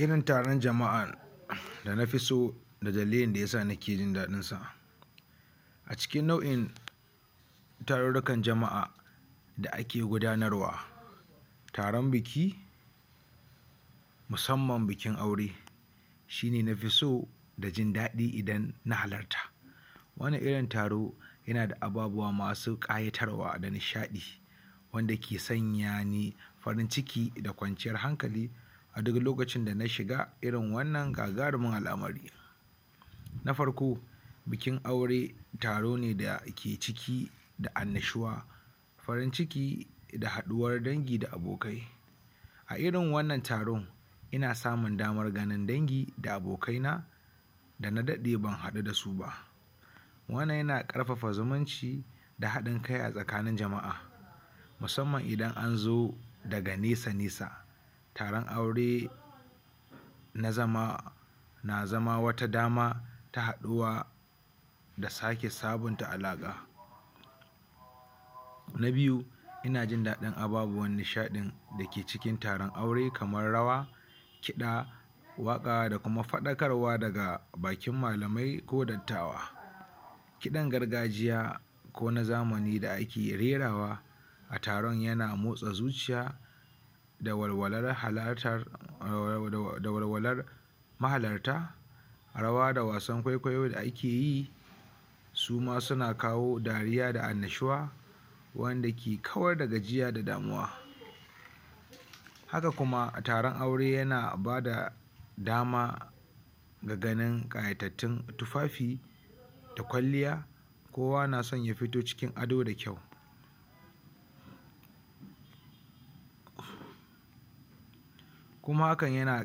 Irin taron jama'a da na fi so da dalilin da yasa nike jin daɗinsa a cikin nau'in tarurrukan jama'a da ake gudanarwa taron biki musamman bikin aure sshi ne na fi so da jin daɗi musamman idan na halarta wannan iron taro yana da ababuwa masu ƙayatarwa da nishaɗi wanda yake sanya ni farin ciki da nishaɗi a duk lokacin da na shiga irin wannan gagarumin al'amari. Na farko bikin aure ne taro ne da ke cike da annashuwa farin ciki da haɗuwar dangi da abokai a irin wannan taron ina samun ganin dangi da abokaina da na daɗe ban haɗu da su ba wannan yana ƙarfafa zumunci da haɗin kai a tsakanin jama'a na zama na zama wata dama ta haɗuwa da sake sabunta alaƙa na biyu ina jin daɗin ababuwan nishaɗin da ke cikin taron aure kamar rawa kiɗa da kuma faɗakarwa daga bakin malami ko dattawa kiɗan gargajiya kona zamani da ake rerawa a taron yana motsa zuciya da walwalar halatar da walwalar mahalarta rawa da wasan kwaikwayo da ake yi suma suna kawo dariya da annnashuwa wanda ke kawar da damuwa haka kuma taron aure na bada dama da ganin ƙayatattun tufafi da kwalliya kowa na son ya fito cikin ado da kyau kuma hakan yana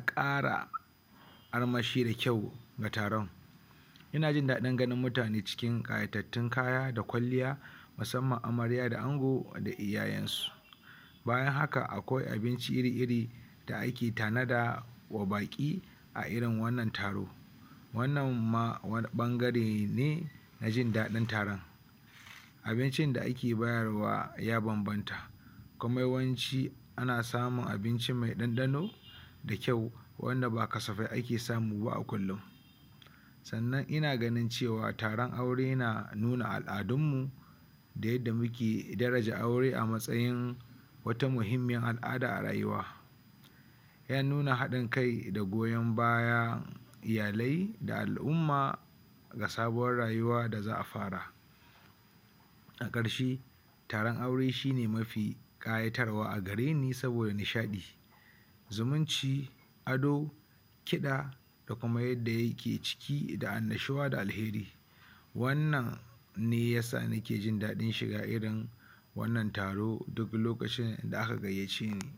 ƙara armashi a taron ina son ganin mutane cikin ƙayatattun kaya da kwalliya musamman amarya da ango da iyayensu bayan haka akwai abinci iri-iri da ake tanadarwa wa baƙi a irin wannan taro wannan ma wani ɓangare ne na jin daɗin taron abincin da ake bayar wa ya banbanta yawanci ana samun abinci mai ɗanɗano da kyau wanda ba kasafai ake samu ba a kullum sannan ina ganin cewa taron aure na nuna al'adunmu da yadda muke daraja aure a matsayin wata al'ada a rayuwa yana nuna haɗin kai da goyon bayan iyalai da al'umma ga sabuwar rayuwar da za afara a ƙarshe taron aure shi ne mafi ƙayatarwa a gare ni domin nishaɗi zumunci ado kiɗa da kuma yadda ayake ciki da annashuwa da alheri wannan ne ya sa nike jin daɗin shiga irin wannan taro duk sadda a ka gayyace ni